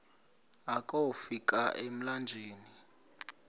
akofi ka emlanjeni